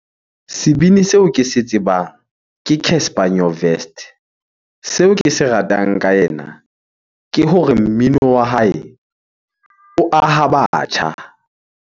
Sebini seo ke se tsebang ke Casper Nyovest. Seo ke se ratang ka ena ke hore mmino wa hae o aha batjha.